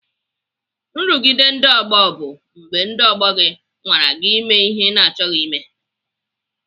Nrụgide ndị ọgbọ bụ mgbe ndị ọgbọ gị nwara gị ime ihe ị na-achọghị ime.